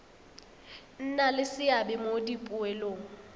nna le seabe mo dipoelong